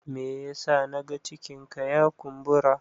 me yasa na ga cikinka ya kumbura?